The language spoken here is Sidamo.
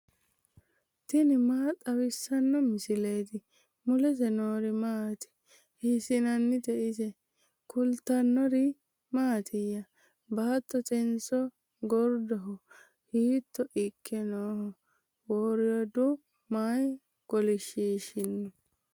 tini maa xawissanno misileeti ? mulese noori maati ? hiissinannite ise ? tini kultannori mattiya? Baattotenso goridoho? hiitto ikke nooho? woriiddo may kolishiishinno?